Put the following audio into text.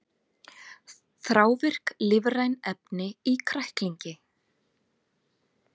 Þrávirk lífræn efni í kræklingi